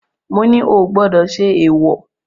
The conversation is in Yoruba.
Mo ní o ò gbọdọ̀ ṣe èwọ̀.